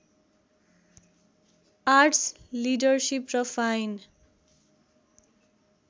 arts leadership र fine